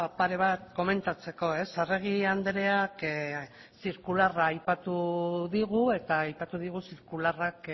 pare bat komentatzeko arregi andreak zirkularra aipatu digu eta aipatu digu zirkularrak